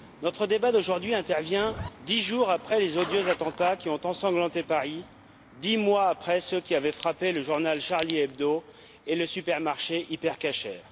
Notre débat d'aujourd'hui intervient dix jours après les odieux attentats qui ont ensanglanté Paris, dix mois après ceux qui avaient frappé le journal Charlie Hebdo et le supermarché Hyper Cacher.